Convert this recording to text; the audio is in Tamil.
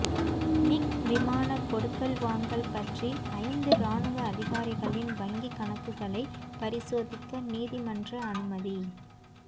மிக் விமான கொடுக்கல் வாங்கல் பற்றி ஐந்து இராணுவ அதிகாரிகளின் வங்கிக் கணக்குகளை பரிசோதிக்க நீதிமன்ற அனுமதி